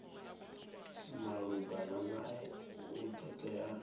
malugana nae u do tea